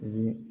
I bi